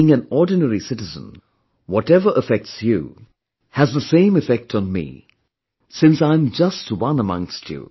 Being an ordinary citizen, whatever affects you has the same effect on me, since I'm just one amongst you